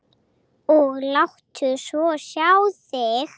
Og láttu svo sjá þig.